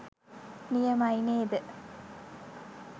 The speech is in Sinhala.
නියමයි නේද?